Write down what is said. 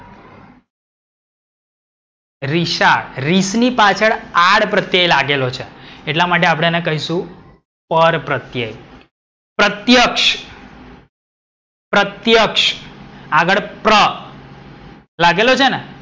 રિશાળ. રીસ ની પછાડ આડ પ્રત્યય લાગેલો છે. એટલા એટલા માટે આપડે એને પરપ્રત્યય કહીશું. પ્રત્યક્ષ. પ્રત્યયક્ષઆગડ પ્ર. લાગેલો છેને?